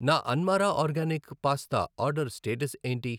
నా అన్మారా organic pasta order status ఏంటి?